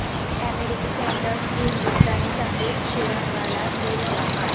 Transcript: امریکی سینیٹرس کی ہندوستانی سفیر شرنگلا سے ملاقات